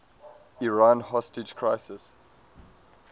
iran hostage crisis